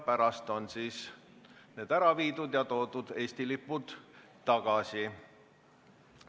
Pärast on need ära viidud ja toodud Eesti lipud tagasi.